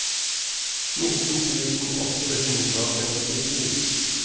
nitten tusen åtte hundre og femtisju